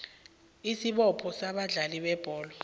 isibopho sabadlali bebholo